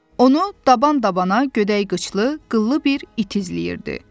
Onu daban-dabana gödək qıçlı, qıllı bir it izləyirdi.